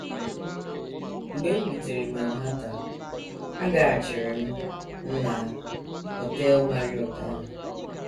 “ Mgbe m rutere Manhattan, agaghachiri m m na Họtel Marriott ahụ.